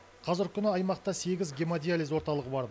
қазіргі күні аймақта сегіз гемодиализ орталығы бар